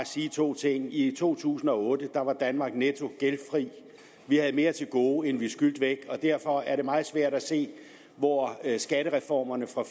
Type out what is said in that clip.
sige to ting i to tusind og otte var danmark netto gældfri vi havde mere til gode end vi skyldte væk og derfor er det meget svært at se hvor skattereformerne fra